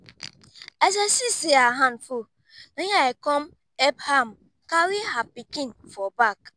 as i see say her hand full na im i come help am carry her pikin for back